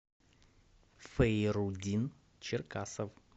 фейрудин черкасов